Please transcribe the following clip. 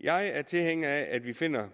jeg er tilhænger af at vi finder